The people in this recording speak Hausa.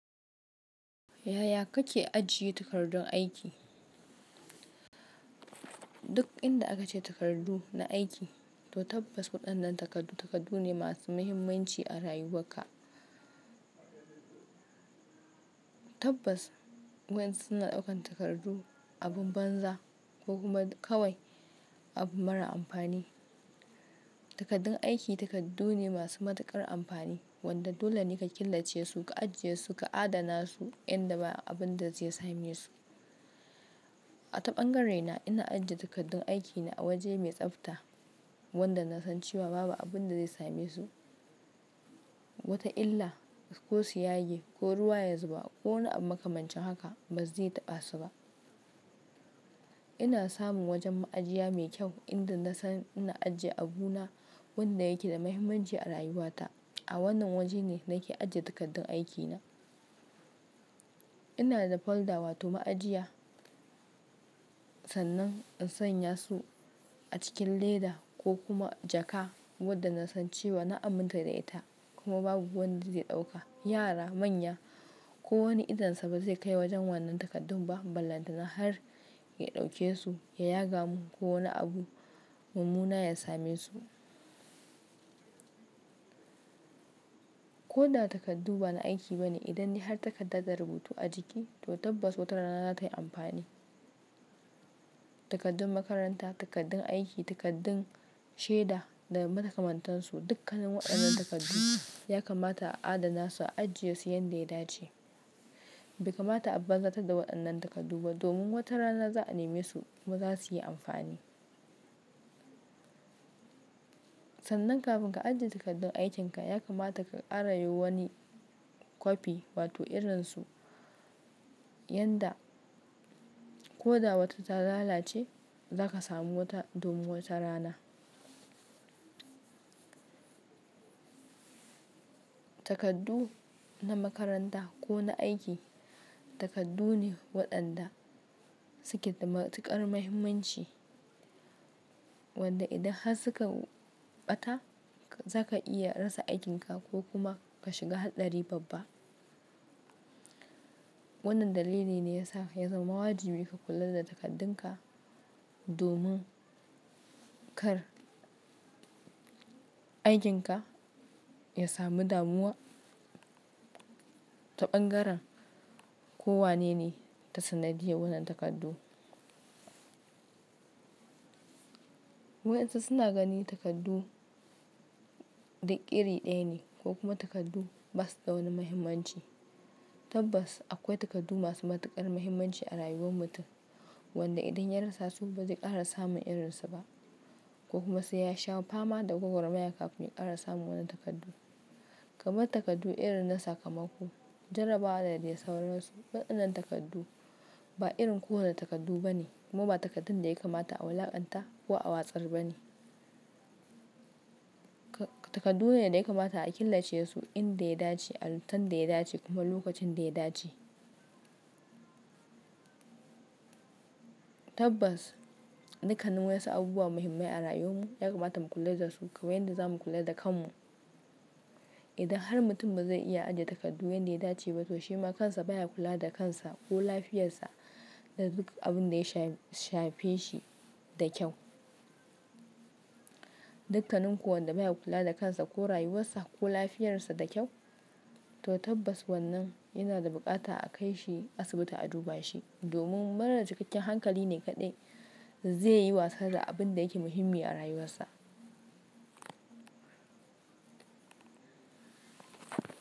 Yaya kake ajiye takardun aiki? Duk inda aka ce takardu na aiki, to tabbas waɗannan takardu takardu ne masu muhimmanci a rayuwakka. Tabbas, wa'insu suna ɗaukan takardu abun banza ko kuma kawai abu mara amfani. Takardun aiki takardu ne masu matuƙar amfani wanda dole ne ka killace su, ka ajiye su, ka adana su inda ba abin da zai same su. A ta ɓangare na ina ajiye takardun aikina a waje mai tsafta wanda na san cewa babu abin da zai same su, wata illa ko su yage ko ruwa ya zuba ko wani abu makamancin haka bazai taɓa su ba. Ina samun wajen ma'ajiya mai kyau inda na san ina ajiye abuna wanda yake da muhimmanci a rayuwata. A wannan waje ne nake ajiye takardun aikina. Ina da folder wato ma'ajiya, sannan in sanya su a cikin leda ko kuma jaka wadda na san cewa na aminta da ita kuma babu wanda zai ɗauka. Yara, manya ko wani idon sa ba zai kai wajen wannan takardun ba, ballantana har ya ɗauke su, ya yaga mun ko wani abu mummuna ya same su. Ko da takardu bana aiki bane, idan dai har takarda da rubutu a jiki, to tabbas wata rana za tai amfani. Takardun makaranta, takardun aiki, takardun shaida da makamantansu dukkanin waɗannan takardu ya kamata a adana su, a ajiye su yanda ya dace. Bai kamata a banzatar da waɗannan takardu ba domin wata rana za a neme su kuma za su yi amfani. Sannan kafin ka ajiye takardun aikinka, ya kamata ka ƙara yi wani copy wato irin su, yanda ko da wata ta lalace za ka samu wata domin wata rana. Takardu na makaranta ko na aiki takardu ne waɗanda suke da matuƙar muhimmanci wanda idan har suka ɓata za ka iya rasa aikinka ko kuma ka shiga haɗari babba. Wannan dalili ne ya sa ya zama wajibi ka kula da takardun ka domin kar aikin ka ya samu damuwa. Ta ɓangaren ko wane ne ta sanadiyyan wannan takardu. Wa'insu suna ganin takardu iri ɗaya ne ko kuma takardu basu da wani muhimmanci. Tabbas akwai takardu masu matuƙar muhimmanci a rayuwan mutum wanda idan ya rasa su ba zai ƙara samun irin su ba ko kuma sai ya sha fama da gwagwarmaya kafin ya ƙara samun wannan takardu. Kamar takardu irin na sakamako, jarrabawa da dai sauransu. Waɗannan takardu ba irin kowane takardu bane kuma ba takardun da ya kamata a wulaƙanta ko a watsar bane. Takardu ne da ya kamata a killace su inda ya dace, a lokutan da ya dace kuma lokacin da ya dace. Tabbas, dukkanin wa'insu abubuwa muhimmai a rayuwanmu ya kamata mu kula da su kawan yanda za mu kula da kanmu. Idan har mutum ba zai iya ajiye takardu yanda ya dace ba toh shi ma kansa baya kula da kansa ko lafiyarsa da duk abin da ya shafe shi da kyau. Dukkanin ko wanda baya kula da kansa ko rayuwarsa ko lafiyarsa da kyau, to tabbas wannan yana da buƙata a kai shi asibiti a duba shi domin mara cikakken hankali ne kaɗai zai yi wasa da abin da yake muhimmi a rayuwarsa.